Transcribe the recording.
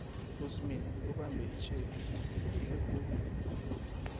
usmith ubambe itjhegi ehlekhulu